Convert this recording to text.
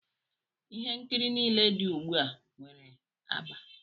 Ihe nkiri nile di ugbu a nwere agba.